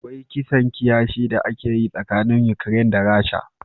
Akwai kisan kiyashi da ake yi tsakanin Ukraine da Rasha.